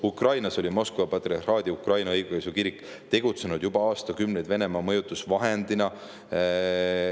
Ukrainas oli Moskva patriarhaadi Ukraina õigeusu kirik tegutsenud juba aastakümneid Venemaa mõjutusvahendina.